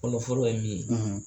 Fɔlɔ fɔlɔ ye min ye